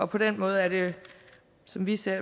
på den måde er det som vi ser